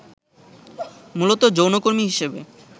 মূলত যৌনকর্মী হিসেবে